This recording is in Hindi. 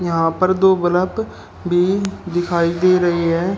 यहां पर दो बलब भी दिखाई दे रही है।